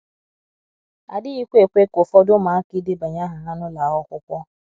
adighi kwa ekwe ka ụfọdụ ụmụaka idebanye aha ha n’ụlọ akwụkwọ.